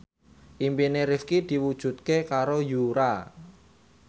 impine Rifqi diwujudke karo Yura